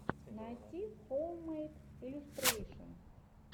найти хоуммэйд иллюстрэйшэн